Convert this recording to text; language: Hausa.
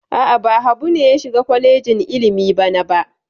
A'a, ba Habu ne ya shiga kwalejin ilimi bana ba.